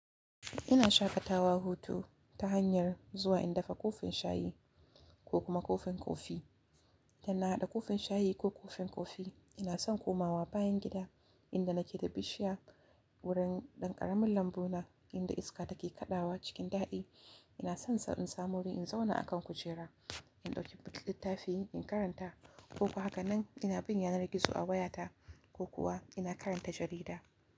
Ina shaƙatawa hutu ta hanyar zuwa in dafa kofin shayi ko kuma kofin kofi, da na haɗa kofin shayi ko kofin kofi ina son komawa bayan gida inda nake da bishiya wurin ɗan ƙaramin lambu na inda iska take kaɗawa cikin daɗi. Ina son sa in samu wuri in zauna akan kujera, in ɗauki littafi in karanta ko kuwa haka nan ina bin yana na gizo a wayata ko kuwa ina karanta jarida.